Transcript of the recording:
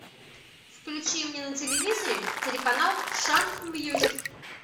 включи мне на телевизоре телеканал шант мьюзик